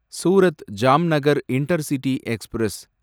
Surat Jamnagar intercity express